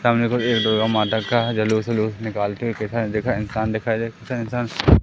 सामने कुछ दुर्गा माता का जलूस वलूस निकालते हुए दिखा दिखाई इंसान दिखाई दे इंसान--